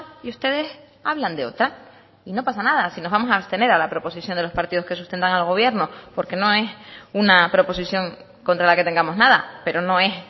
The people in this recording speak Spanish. y ustedes hablan de otra y no pasa nada si nos vamos a abstener a la proposición de los partidos que sustentan al gobierno porque no es una proposición contra la que tengamos nada pero no es